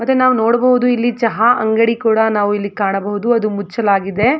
ಮತ್ತೆ ನಾವು ನೋಡಬಹುದು ಇಲ್ಲಿ ಚಹಾ ಅಂಗಡಿ ಕೂಡ ನಾವು ಇಲ್ಲಿ ಕಾಣಬಹುದು ಅದು ಮುಚ್ಚಲಾಗಿದೆ.